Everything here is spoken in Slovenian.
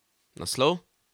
Naslov?